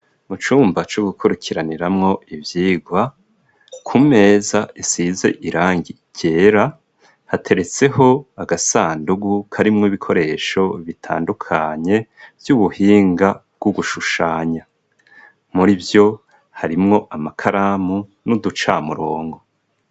Mu cumba co gukurikiraniramwo ivyigwa ku meza isize irangi rera hateretseho agasandugu karimwo ibikoresho bitandukanye vy'ubuhinga bw'ugushushanya muri vyo harimwo amakaramu n'uduca murongo.